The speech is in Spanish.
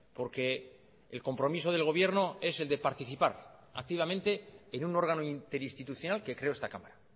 porque el compromiso del gobierno es el de participar activamente en un órgano interinstitucional que creó esta cámara